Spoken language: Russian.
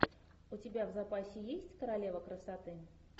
у тебя в запасе есть королева красоты